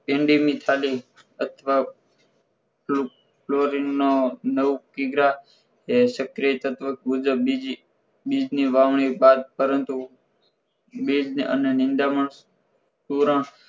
કેન્ડીની થેલી અથવા ક્લો chlorine નવ કિગ્રા એ સક્રિય તત્વ મુજબ બીજી બીજ ની વાવણી બાદ પરંતુ બીજ અને નીંદામણ પૂરણ